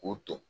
K'o ton